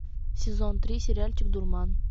сезон три сериальчик дурман